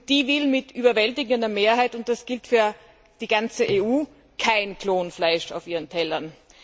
Und die will mit überwältigender Mehrheit, und das gilt für die gesamte EU, kein Klonfleisch auf ihren Tellern.